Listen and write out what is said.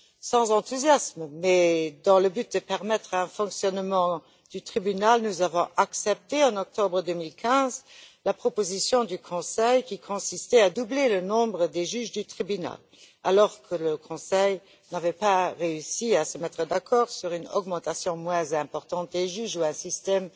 Sans enthousiasme, mais dans le but de permettre un bon fonctionnement du tribunal nous avons accepté, en octobre 2015, la proposition du Conseil, qui consistait à doubler le nombre de juges du tribunal, alors que le Conseil n'avait pas réussi à se mettre d'accord sur une augmentation moins importante du nombre de juges ou un système